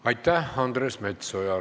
Aitäh, Andres Metsoja!